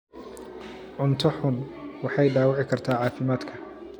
Cunto xun waxay dhaawici kartaa caafimaadka.